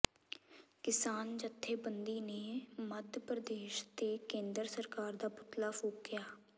ਕਿਸਾਨ ਜਥੇਬੰਦੀ ਨੇ ਮੱਧ ਪ੍ਰਦੇਸ਼ ਤੇ ਕੇਂਦਰ ਸਰਕਾਰ ਦਾ ਪੁਤਲਾ ਫੂਕਿਆ